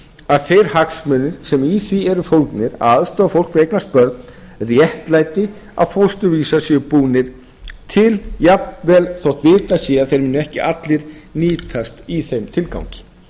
að þeir hagsmunir sem í því eru fólgnir að aðstoða fólk við að eignast börn réttlæti að fósturvísar séu búnir til jafnvel þótt vitað sé að þeir muni ekki allir nýtast í þeim tilgangi